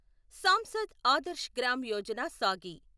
సాంసద్ ఆదర్శ్ గ్రామ్ యోజన సాగి